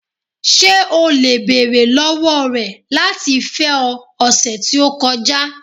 Ṣe o le beere lọwọ rẹ lati fẹ ọ, ọsẹ ti o kọja?